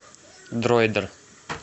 дроидер